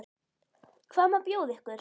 Hvað má bjóða ykkur?